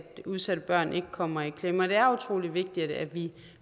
udsatte børn ikke kommer i klemme og det er utrolig vigtigt at vi